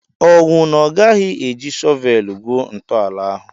Ọwụ na Ọ gaghị eji shọvelu gwuo ntọala ahụ?